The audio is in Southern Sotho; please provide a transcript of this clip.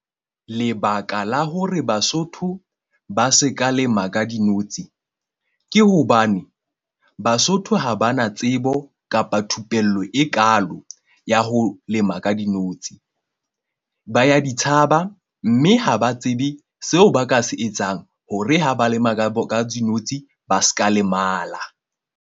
Lebaka la hore Basotho ba se ka lema ka dinotshi. Ke hobane Basotho ha ba na tsebo kapa thupello e kaalo ya ho lema ka dinotshi. Ba ya di tshaba mme ha ba tsebe seo ba ka se etsang hore ha ba lema ka dinotshi ba ska lemala.